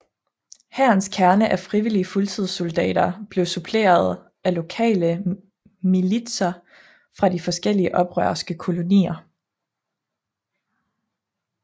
Hærens kerne af frivillige fuldtidssoldater blev suppleret af lokale militser fra de forskellige oprørske kolonier